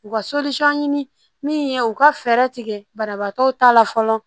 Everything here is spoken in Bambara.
U ka ɲini min ye u ka fɛɛrɛ tigɛ banabaatɔw ta la fɔlɔ